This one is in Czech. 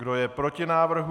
Kdo je proti návrhu?